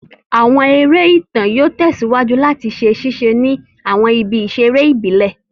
Àwọn eré ìtàn yóò tẹ̀síwájú làti ṣe ṣíse ni àwọn ibi ìsèré ìbílẹ̀